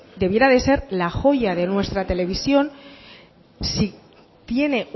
debiera ser la joya de nuestra televisión si tiene